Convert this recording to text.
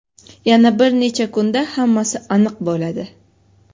yana bir necha kunda hammasi aniq bo‘ladi.